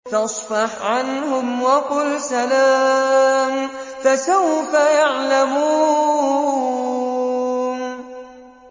فَاصْفَحْ عَنْهُمْ وَقُلْ سَلَامٌ ۚ فَسَوْفَ يَعْلَمُونَ